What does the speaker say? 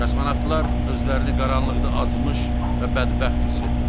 Kosmonavtlar özlərini qaranlıqda azmış və bədbəxt hiss etdilər.